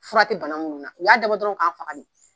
Furakɛ ti bana minnu na u y'a dabɔ dɔrɔn k'an faga de